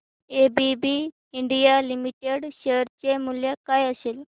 ABB India limited share चे मूल्य काय असेल